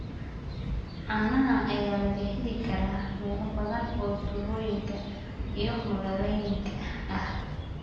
Caanaha ayaa laga heli karaa meelo badan oo tuulooyinka iyo magaalooyinka ah.